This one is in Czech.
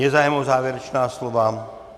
Je zájem o závěrečná slova?